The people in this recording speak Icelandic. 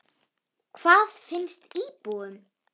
En hvað finnst íbúunum?